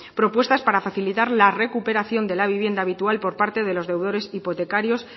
propuestas para facilitar la recuperación de la vivienda habitual por parte de los deudores hipotecarios